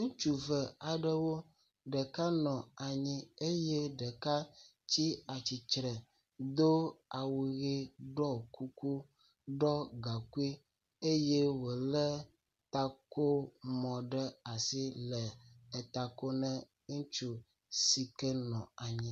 Ŋutsu ve aɖewo, ɖeka nɔ anyi eye ɖeka tsi atsitre do awu ɣe, ɖɔ kuku, ɖɔ gaŋkui eye wole takomɔ ɖe asi le tako nɛ ŋutsu si ne nɔ anyi, ŋutsu si ne nɔ anyi tsɔ enu ɣii kɔ tsɔ kɔme.